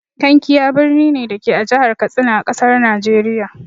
Kankia birni ne, da ke a Jihar Katsina, a ƙasar Nijeriya.